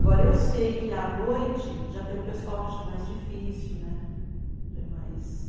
Agora, eu sei que, à noite, já tem um pessoal que já é mais difícil né, já é mais...